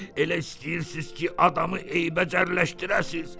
Elə istəyirsiz ki, adamı eybəcərləşdirəsiz.